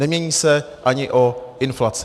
Nemění se ani o inflaci.